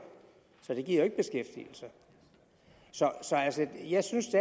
så det giver jo ikke beskæftigelse så jeg synes